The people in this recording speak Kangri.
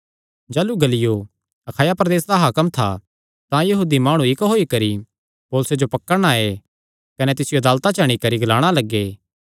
जाह़लू गल्लियो अखाया प्रदेसे दा हाकम था तां यहूदी माणु इक्क होई करी पौलुसे जो पकड़णा आये कने तिसियो अदालता च अंणी करी ग्लाणा लग्गे